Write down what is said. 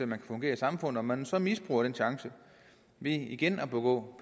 kan fungere i samfundet når man så misbruger den chance ved igen at begå